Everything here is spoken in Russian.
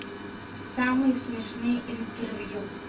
самые смешные интервью